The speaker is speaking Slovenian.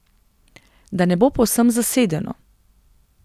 Da ne bo povsem zasedeno.